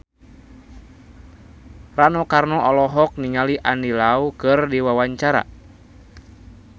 Rano Karno olohok ningali Andy Lau keur diwawancara